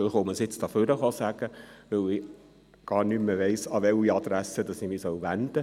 Ich sage das nun hier am Rednerpult, weil ich gar nicht mehr weiss, an wen ich mich wenden soll.